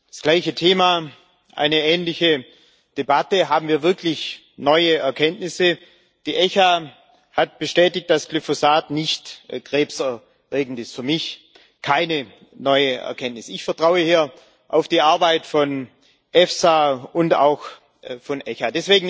Das gleiche Thema, eine ähnliche Debatte haben wir wirklich neue Erkenntnisse? Die ECHA hat bestätigt, dass Glyphosat nicht krebserregend ist für mich keine neue Erkenntnis. Ich vertraue hier auf die Arbeit von EFSA und auch von ECHA.